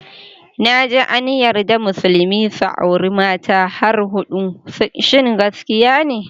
Naji an yarda musulmi su auri mata har hudu, shin gaskiya ne?